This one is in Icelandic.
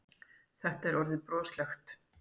Þetta var orðið broslegt.